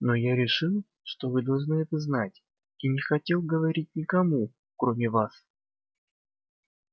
но я решил что вы должны это знать и не хотел говорить никому кроме вас